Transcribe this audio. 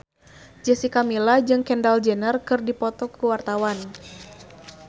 Jessica Milla jeung Kendall Jenner keur dipoto ku wartawan